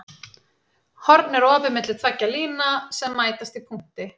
Horn er opið milli tveggja lína sem mætast í punkti.